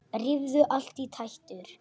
Rífur allt í tætlur.